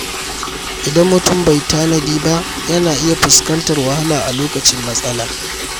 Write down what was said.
Idan mutum bai tanadi ba, yana iya fuskantar wahala a lokacin matsala.